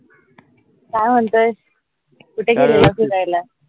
काय म्हणतोयस कुठे गेलेला फिरायला?